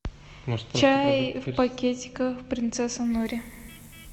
чай в пакетиках принцесса нури